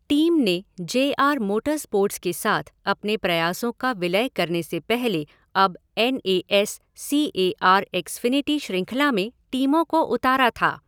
Team ने J R motorsports के साथ अपने प्रयासों का विलय करने से पहले अब N A S C A R Xfinity शृंखला में टीमों को उतारा था।